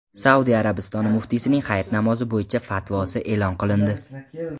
Saudiya Arabistoni muftiysining Hayit namozi bo‘yicha fatvosi e’lon qilindi .